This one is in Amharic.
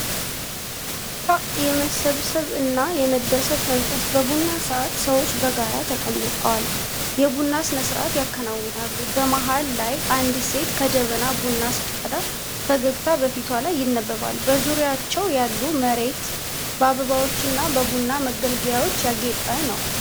ፐ የመተሳሰብ እና የደስታ መንፈስ በቡና ሰዓት። ሰዎች በጋራ ተቀምጠው የቡና ስነስርዓት ያከናውናሉ። በመሃል ላይ አንዲት ሴት ከጀበና ቡና ስትቀዳ ፈገግታ በፊቷ ላይ ይነበባል። በዙሪያቸው ያለው መሬት በአበባዎችና በቡና መገልገያዎች ያጌጠ ነው።